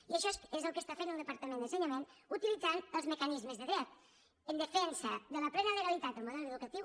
i això és el que està fent el departament d’ensenyament utilitzant els mecanismes de dret en defensa de la plena legalitat del model educatiu